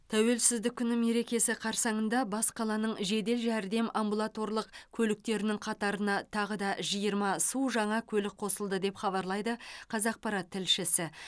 тәуелсіздік күні мерекесі қарсаңында бас қаланың жедел жәрдем амбулаторлық көліктерінің қатарына тағы да жиырма су жаңа көлік қосылды деп хабарлайды қазақпарат тілшісі